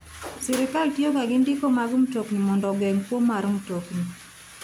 Sirkal tiyo ga gi ndiko mag mtokni mondo ogeng' kwo mar mtokni.